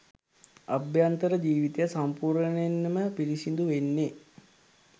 අභ්‍යන්තර ජීවිතය සම්පූර්ණයෙන්ම පිරිසිදු වෙන්නෙ.